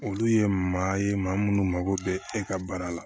Olu ye maa ye maa munnu mago bɛ e ka baara la